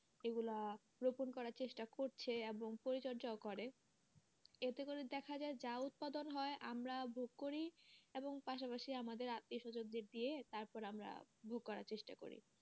এগুলা রোপণ করার চেষ্টা করছে এবং পরিচর্যাও করে এতে করে দেখা যায় যা উৎপাদন হয় আমরা ভোগ করি এবং পাশাপাশি আমাদের আত্মীয় সজনের দিয়ে তারপরে আমরা ভোগ করার চেষ্টা করি।